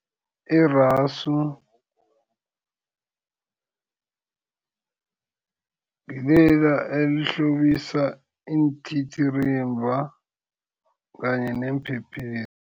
Irasu ngilela elihlobisa iintitirimba kanye neemphephethu.